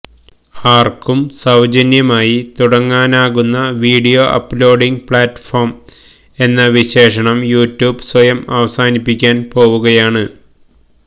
ആര്ക്കും സൌജന്യമായി തുടങ്ങാനാകുന്ന വീഡിയോ അപ്ലോഡിങ് പ്ലാറ്റ്ഫോം എന്ന വിശേഷണം യുട്യൂബ് സ്വയം അവസാനിപ്പിക്കാന് പോവുകയാണ്